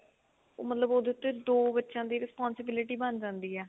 ਮਤਲਬ ਉਹਦੇ ਤੇ ਦੋ ਬੱਚਿਆਂ ਦੀ responsibility ਬਣ ਜਾਂਦੀ ਏ